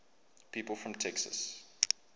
people from texas